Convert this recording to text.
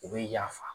U bɛ yafa